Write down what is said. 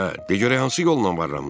Hə, de görək hansı yolla varlanmısan?